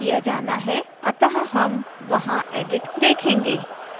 अतः हम वहां edit देखेंगे